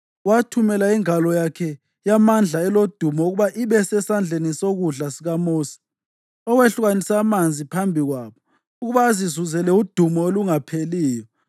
owathumela ingalo yakhe yamandla elodumo ukuba ibe sesandleni sokudla sikaMosi, owehlukanisa amanzi phambi kwabo ukuba azizuzele udumo olungapheliyo,